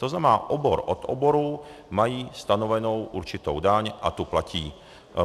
To znamená, obor od oboru mají stanovenou určitou daň a tu platí.